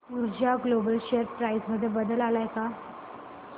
ऊर्जा global share price मध्ये बदल आलाय का